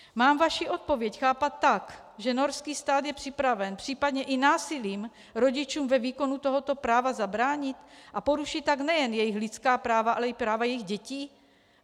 Mám vaši odpověď chápat tak, že norský stát je připraven případně i násilím rodičům ve výkonu tohoto práva zabránit, a porušit tak nejen jejich lidská práva, ale i práva jejich dětí?